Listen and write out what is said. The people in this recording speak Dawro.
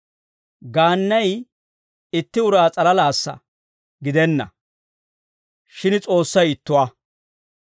Gaannay itti uraa s'alalaassa gidenna; shin S'oossay ittuwaa.